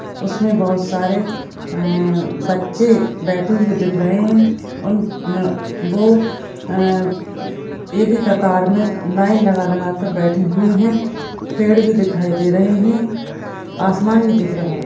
उसमे बहुत सारे अह बच्चे बैठे हुए दिख रहे है उन मे वो अह एक ही कतार मे लाइन लगा लगा कर बैठे हुए है पेड़ भी दिखाई दे रहे है आसमान भी दिख रहा है।